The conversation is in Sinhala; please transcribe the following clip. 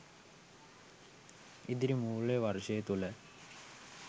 ඉදිරි මූල්‍ය වර්ෂය තුල